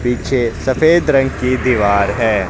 पीछे सफेद रंग की दीवार है।